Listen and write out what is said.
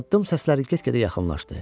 Addım səsləri get-gedə yaxınlaşdı.